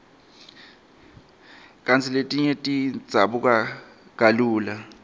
kantsi letinye tidzabuka kalula